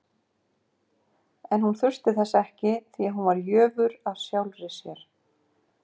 En hún þurfti þess ekki, því hún var jöfur af sjálfri sér.